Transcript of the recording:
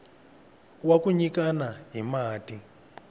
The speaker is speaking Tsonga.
wa ku nyikana hi mati